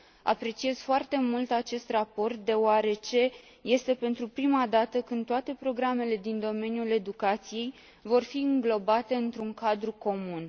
Apreciez foarte mult acest raport deoarece este pentru prima dată când toate programele din domeniul educației vor fi înglobate într un cadru comun.